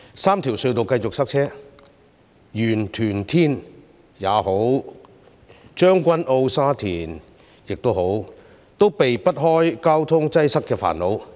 三條隧道繼續塞車，不論是元朗、屯門或天水圍，還是將軍澳或沙田，都避不開交通擠塞的煩惱。